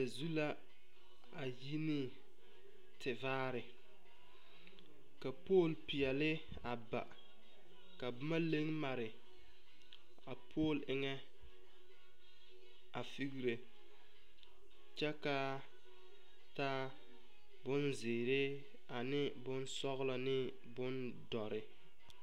zu la a kyine te bare ka puli pɛle baa ka boma lag mare a puli eŋ feŋere kyɛ kaa ta boŋ zeɛra ane boŋ sõɔloŋ ane boŋ duore.